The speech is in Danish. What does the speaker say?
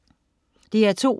DR2: